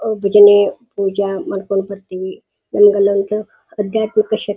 ಅವು ಬಿಜನೆ ಪೂಜೆ ಮಾಡ್ಕೊಂಡ್ ಬರ್ತಿವಿನಮಗೆ ಅಲ್ಲೊಂದು ಅಧ್ಯಾತ್ಮಾಕ ಶಕ್ತಿ --